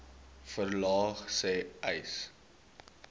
verlaag sê uys